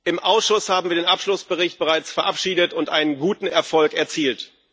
Im Ausschuss haben wir den Abschlussbericht bereits verabschiedet und einen guten Erfolg erzielt.